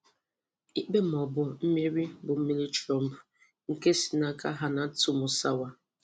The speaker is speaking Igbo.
Íkpé ma ọ bụ Mmeri bụ Mmeri Trump? Nke si n' aka Hannatu Musawa.